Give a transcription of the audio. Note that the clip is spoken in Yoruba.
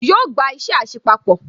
Yóò gba isẹ àṣepapọ̀